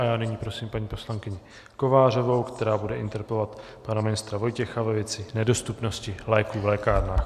A já nyní prosím paní poslankyni Kovářovou, která bude interpelovat pana ministra Vojtěcha ve věci nedostupnosti léků v lékárnách.